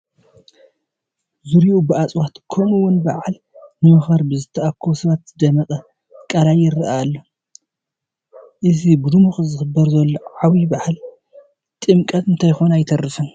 ዙርይኡ ብእፅዋት ከምኡውን በዓል ንምኽባር ብዝተኣከቡ ሰባት ዝደመቐ ቃላይ ይርአ ኣሎ፡፡ እዚ ብድምቀት ዝኽበር ዘሎ ዓብዪ በዓል ጥምቀት እንተይኮነ ኣይተርፍን፡፡